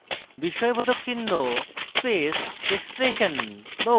বিস্ময়বোধক চিহ্ন space expression